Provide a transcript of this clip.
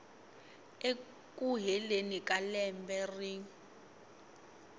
eku heleni ka lembe rin